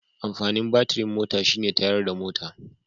Amfanin batirin mota shi ne tayarda mota